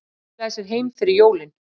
Skilaði sér heim fyrir jólin